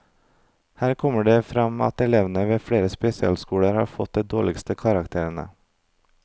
Her kommer det frem at elevene ved flere spesialskoler har fått de dårligste karakterene.